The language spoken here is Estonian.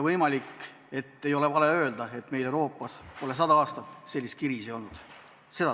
Võimalik, et ei ole vale öelda isegi nii, et meil Euroopas pole sada aastat sellist kriisi olnud.